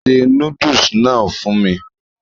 se núdùsì náà fún mi